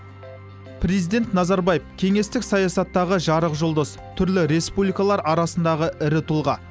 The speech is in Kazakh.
президент назарбаев кеңестік саясаттағы жарық жұлдыз түрлі республикалар арасындағы ірі тұлға